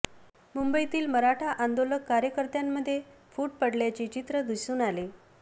मुंबईतील मराठा आंदोलक कार्यकर्त्यांमध्ये फूट पडल्याचे चित्र दिसून आले